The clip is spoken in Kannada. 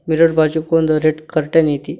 ಮಿರರ್ ಬಾಜುಕೊಂದ ರೆಡ್ ಕರ್ಟನ್ ಐತಿ.